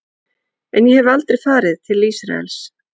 En ég hef aldrei farið til Ísraels.